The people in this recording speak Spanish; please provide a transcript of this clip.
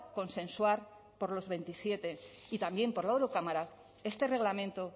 consensuar por los veintisiete y también por la eurocámara este reglamento